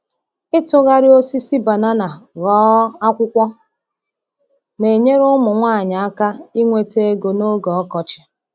Ịtụgharị osisi banana ghọọ akwụkwọ na-enyere ụmụ nwanyị aka inweta ego n’oge ọkọchị.